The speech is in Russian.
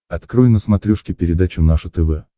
открой на смотрешке передачу наше тв